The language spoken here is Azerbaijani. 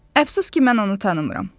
Əfsus ki, mən onu tanımıram.